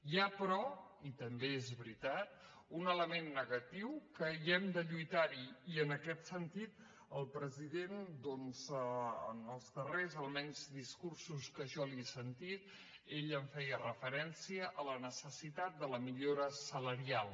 hi ha però i també és veritat un element negatiu que hem de lluitar hi i en aquest sentit el president doncs en els darrers almenys discursos que jo li he sentit hi feia referència la necessitat de la millora salarial